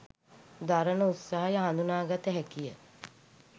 දරන උත්සාහය හඳුනාගත හැකිය